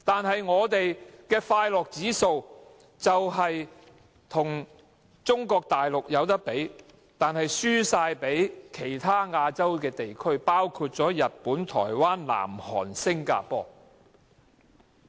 慶祝我們的快樂指數可與中國大陸比擬，但輸給其他亞洲地區，包括日本、台灣、南韓和新加坡？